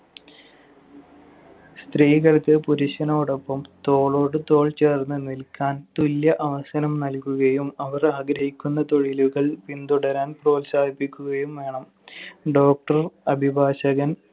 സ്ത്രീകൾക്ക് പുരുഷനോടൊപ്പം തോളോട് തോൾ ചേർന്ന് നിൽക്കാൻ തുല്യ അവസരം നൽകുകയും അവർ ആഗ്രഹിക്കുന്ന തൊഴിലുകൾ പിന്തുടരാൻ പ്രോത്സാഹിപ്പിക്കുകയും വേണം. Doctor, അഭിഭാഷകൻ,